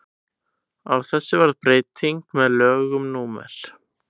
á þessu varð breyting með lögum númer